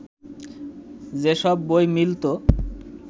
যেসব বই মিলত